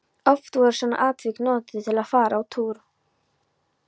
Oft voru svona atvik notuð til að fara á túr.